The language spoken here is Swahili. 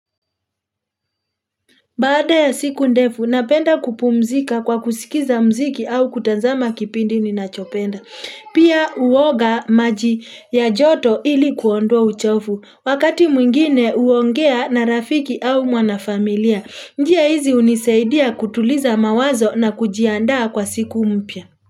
Baada ya siku ndefu, napenda kupumzika kwa kusikiza mziki au kutazama kipindi ni nachopenda. Pia uwoga maji ya joto ili kuondwa uchofu. Wakati mwingine uongea na rafiki au mwanafamilia. Njia hizi unisaidia kutuliza mawazo na kujiandaa kwa siku mpya.